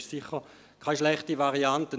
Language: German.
Dies ist sicher keine schlechte Variante.